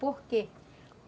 Por quê?